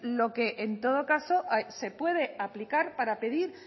lo que en todo caso se puede aplicar para pedir